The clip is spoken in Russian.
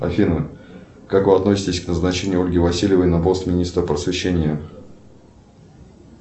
афина как вы относитесь к назначению ольги васильевой на пост министра просвещения